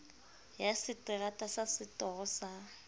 ya seterata sa setoro sa